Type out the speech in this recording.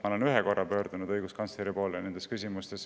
Ma olen selles küsimuses õiguskantsleri poole pöördunud vaid ühel korral.